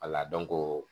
Wala dɔnko